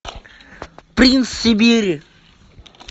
принц сибири